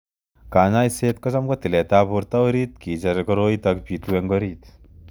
Kanyoiset kocham ko tilet ap porto orit kicher koroitok pitu ing orit.